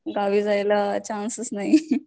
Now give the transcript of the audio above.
गावी जायला चान्सच नाही